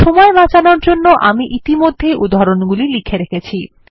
সময় বাঁচানোর জন্য আমি ইতিমধ্যেই উদাহরণগুলি লিখে রেখেছি